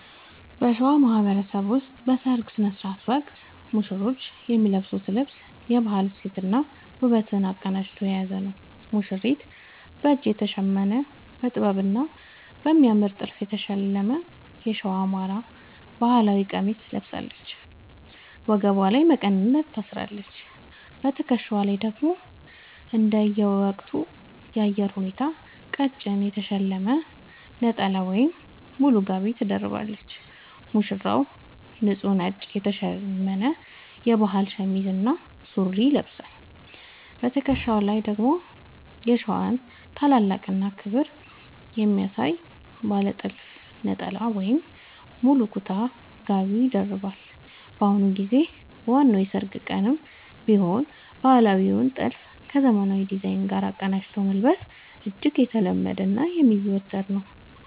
በሸዋ ማህበረሰብ ውስጥ በሠርግ ሥነ ሥርዓት ወቅት ሙሽሮች የሚለብሱት ልብስ የባህል እሴትንና ውበትን አቀናጅቶ የያዘ ነው፦ ሙሽሪት፦ በእጅ የተሸመነ: በጥበብና በሚያምር ጥልፍ የተሸለመ የሸዋ (የአማራ) ባህል ቀሚስ ትለብሳለች። ወገቧ ላይ መቀነት ታስራለች: በትከሻዋ ላይ ደግሞ እንደየወቅቱ የአየር ሁኔታ ቀጭን የተሸለመ ነጠላ ወይም ሙሉ ጋቢ ትደርባለች። ሙሽራው፦ ንጹህ ነጭ የተሸመነ የባህል ሸሚዝ እና ሱሪ ይለብሳል። በትከሻው ላይ ደግሞ የሸዋን ታላቅነትና ክብር የሚያሳይ ባለ ጥልፍ ነጠላ ወይም ሙሉ ኩታ (ጋቢ) ይደርባል። በአሁኑ ጊዜ በዋናው የሠርግ ቀንም ቢሆን ባህላዊውን ጥልፍ ከዘመናዊ ዲዛይን ጋር አቀናጅቶ መልበስ እጅግ የተለመደና የሚዘወተር ነው።